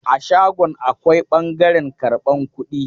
A shagon akwai ɓangaren karban kudi.